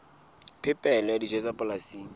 phepelo ya dijo tsa polasing